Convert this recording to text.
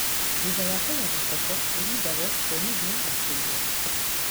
Thutha wa kũgetha koko ĩrindagwo , kũmithio na kũigũo.